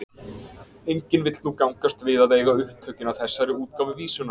Enginn vill nú gangast við að eiga upptökin að þessari útgáfu vísunnar.